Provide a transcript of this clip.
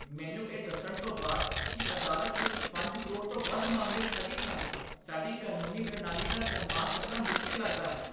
ਮੈਨੂੰ ਇਹ ਦੱਸਣ ਤੋਂ ਬਾਅਦ ਕੀ ਅਦਾਲਤ ਵਿੱਚ ਪੰਜ ਕਰੋੜ ਤੋਂ ਵੱਧ ਮਾਮਲੇ ਸਥਗਿਤ ਹਨ, ਸਾਡੀ ਕਾਨੂੰਨੀ ਪ੍ਰਣਾਲੀ ਦਾ ਸਨਮਾਨ ਕਰਨਾ ਮੁਸ਼ਕਲ ਲੱਗਦਾ ਹੈ